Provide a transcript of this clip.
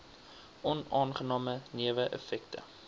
onaangename newe effekte